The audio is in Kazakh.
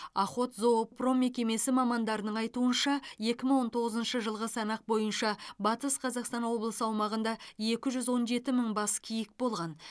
охотзоопром мекемесі мамандарының айтуынша екі мың он тоғызыншы жылғы санақ бойынша батыс қазақстан облысы аумағында екі жүз он жеті мың бас киік болған